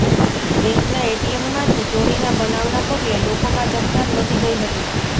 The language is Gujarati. બેન્કના એટીએમમાંથી ચોરીના બનાવના પગલે લોકોમાં ચકચાર મચી ગઈ હતી